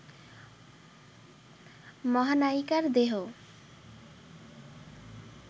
মহানায়িকার দেহ